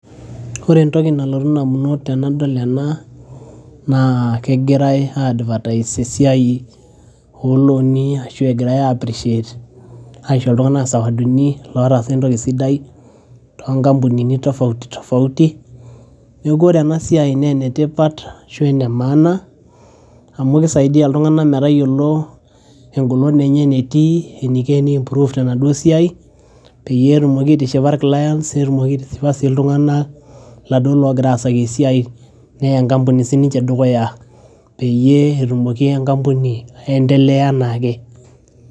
ore entoki nalotu indamunot tenadol ena naa kegirae ae advertise esiai esiai olooni ashu egirae appreciate aisho iltung'anak isawadini lotaasa entoki sidai tonkampunini tofauti tofauti neeku ore ena siai naa enetipat ashu ene maana amu kisaidiyia iltung'anak metayiolo engolon enye enetii eniko eni improve tenaduo siai peyie etumoki aitishipa ir clients netumoki aitishipa sii iltung'anak laduo logira asaki esiai neya enkampuni sininche dukuya peyie etumoki enkampuni aendeleya enaake.